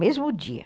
Mesmo dia.